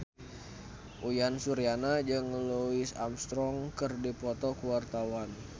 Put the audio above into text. Uyan Suryana jeung Louis Armstrong keur dipoto ku wartawan